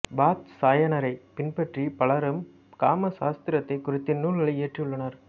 வாத்சாயனரைப் பின்பற்றி பலரும் காம சாஸ்திரத்தைக் குறித்த நூல்களை இயற்றியுள்ளனர்